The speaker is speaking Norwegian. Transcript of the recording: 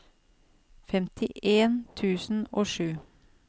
femtien tusen og sju